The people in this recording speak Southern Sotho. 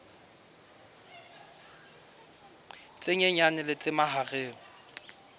tse nyenyane le tse mahareng